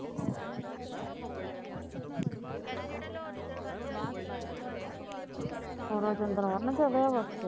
ਉਹਦਾ ਵਨ ਚੜਿਆਂ ਵਾਂ